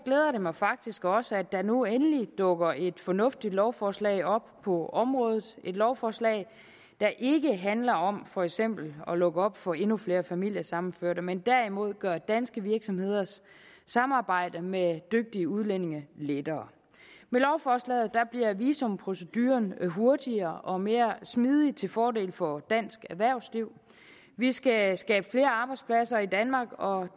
det mig faktisk også at der nu endelig dukker et fornuftigt lovforslag op på området et lovforslag der ikke handler om for eksempel at lukke op for endnu flere familiesammenføringer men derimod gøre danske virksomheders samarbejde med dygtige udlændinge lettere med lovforslaget bliver visumproceduren hurtigere og mere smidig til fordel for dansk erhvervsliv vi skal skabe flere arbejdspladser i danmark og